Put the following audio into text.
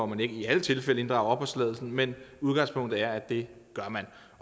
man ikke i alle tilfælde inddrager opholdstilladelsen men udgangspunktet er at det gør man